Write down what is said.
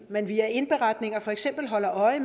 man via indberetninger for eksempel holder øje